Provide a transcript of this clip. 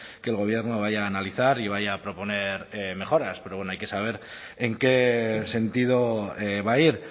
que el gobierno vaya a analizar y vaya a proponer mejoras pero hay que saber en qué sentido va a ir